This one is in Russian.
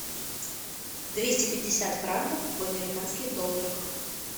двести пятьдесят франков в американских долларах